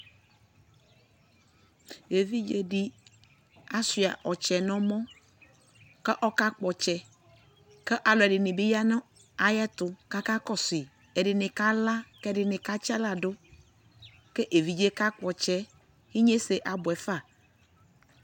ɛvidzɛ di asʋa ɔkyɛ nʋ ɛmɔ kʋ ɔka kpɔ ɔkyɛ kʋ alʋɛdini bi yanʋ ayɛtʋ kʋ akakɔsʋi kʋ ɛdini bi kala kʋ ɛdinika tsi ala dʋ kʋ ɛvidzɛ ka kpɔ ɔtsɛ inyɛsɛ abʋɛ fa